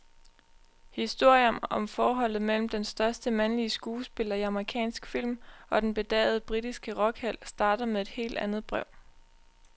Historien om forholdet mellem den største mandlige skuespiller i amerikansk film og den bedagede britiske rockhelt starter med et helt andet brev.